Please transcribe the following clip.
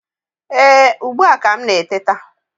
Ee, ugbu a ka m na-eteta